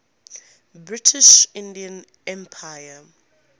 british indian empire